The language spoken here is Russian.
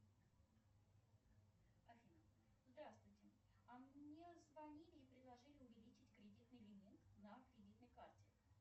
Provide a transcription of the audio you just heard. афина здравствуйте а мне звонили и предложили увеличить кредитный лимит на кредитной карте